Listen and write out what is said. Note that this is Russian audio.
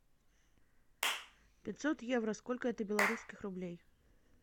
пятьсот евро сколько это белорусских рублей